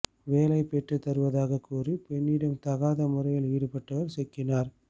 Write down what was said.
வேலை பெற்று தருவதாக கூறி பெண்களிடம் தகாத முறையில் ஈடுபட்டவர் சிக்கினார்